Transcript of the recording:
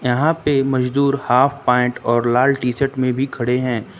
यहां पे मजदूर हाफ पेंट और लाल टी शर्ट में भी खड़े हैं।